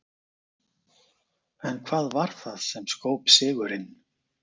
En hvað varð það sem skóp sigurinn?